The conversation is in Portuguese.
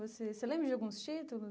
Você você lembra de alguns títulos?